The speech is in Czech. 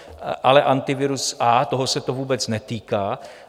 Ale Antivirus A, toho se to vůbec netýká.